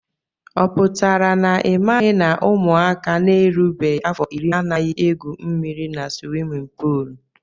Ọ pụtara na imaghi na ụmụaka na erubeghi afọ irí anaghị egwú mmiri n' swimin poolu?